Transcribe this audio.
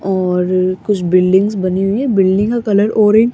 और कुछ बिल्डिंग्स बनी हुई हैं बिल्डिंग का कलर ऑरेंज --